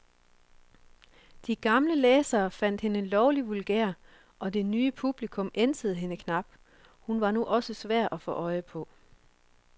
De gamle læsere fandt hende lovlig vulgær, og det nye publikum ænsede hende knap, hun var nu også svær at få øje på.